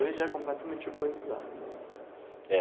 Hoje já é completamente urbanizado, né? É.